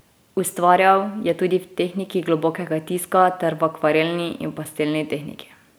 Ustvarjal je tudi v tehniki globokega tiska ter v akvarelni in pastelni tehniki.